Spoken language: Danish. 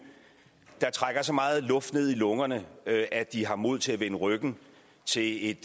der trækker så meget luft ned i lungerne at at de har mod til at vende ryggen til et